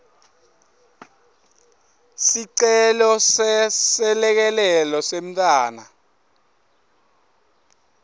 sicelo seselekelelo semntfwana